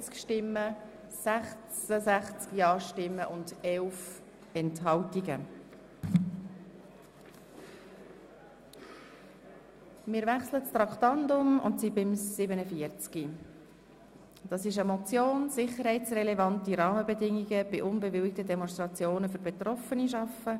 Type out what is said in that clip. Wir sind bei Traktandum 47, bei der Motion Sicherheitsrelevante Rahmenbedingungen bei unbewilligten Demonstrationen für Betroffene schaffen.